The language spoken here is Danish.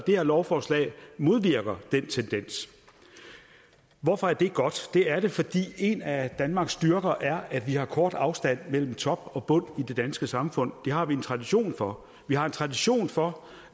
her lovforslag modvirker den tendens hvorfor er det godt det er det fordi en af danmarks styrker er at vi har en kort afstand mellem top og bund i det danske samfund det har vi en tradition for vi har en tradition for